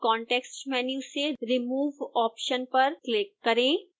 context menu से remove option पर click करें